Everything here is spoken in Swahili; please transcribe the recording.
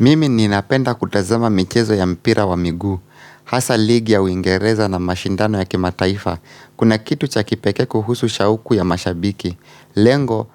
Mimi ninapenda kutazama michezo ya mpira wa miguu. Hasa ligi ya uingereza na mashindano ya kimataifa. Kuna kitu cha kipekee kuhusu shauku ya mashabiki. Lengo